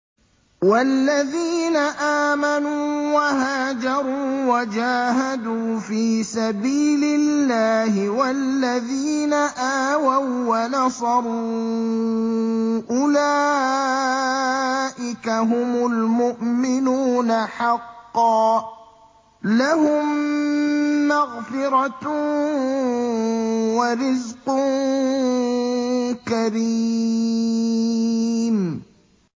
وَالَّذِينَ آمَنُوا وَهَاجَرُوا وَجَاهَدُوا فِي سَبِيلِ اللَّهِ وَالَّذِينَ آوَوا وَّنَصَرُوا أُولَٰئِكَ هُمُ الْمُؤْمِنُونَ حَقًّا ۚ لَّهُم مَّغْفِرَةٌ وَرِزْقٌ كَرِيمٌ